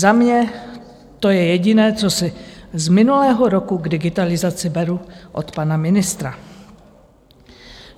Za mě to je jediné, co si z minulého roku k digitalizaci beru od pana ministra.